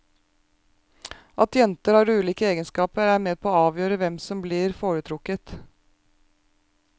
At jentene har ulike egenskaper er med å avgjøre hvem som blir foretrukket.